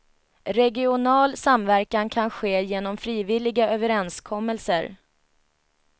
Regional samverkan kan ske genom frivilliga överenskommelser.